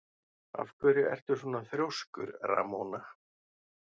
Af hverju ertu svona þrjóskur, Ramóna?